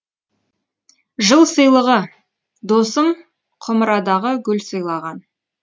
жыл сыйлығы досым құмырадағы гүл сыйлаған